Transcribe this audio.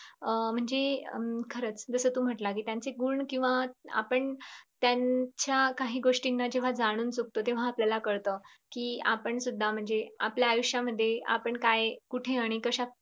अं म्हणजे हम्म खरंच तू जस म्टलंस त्यांचे गुण किंव्हा आपण त्यांच्या काही गोष्टीना जेव्हा जाणून चुकतो तेव्हा आपल्याला कळत कीआपण सुद्धा म्हणजे आपल्या आयुष्यात मध्ये आपण काय कुठे आणि काय